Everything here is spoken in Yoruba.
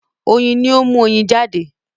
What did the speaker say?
oyin ní o mu oyin jade.